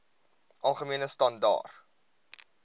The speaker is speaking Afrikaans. algemene standaar